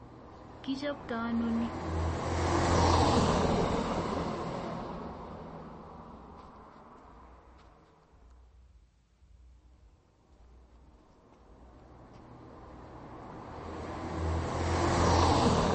Kichoptoi ano ni